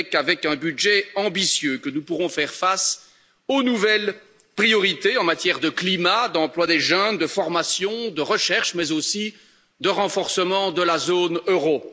Ce n'est qu'avec un budget ambitieux que nous pourrons faire face aux nouvelles priorités en matière de climat, d'emploi des jeunes, de formation, de recherche, mais aussi de renforcement de la zone euro.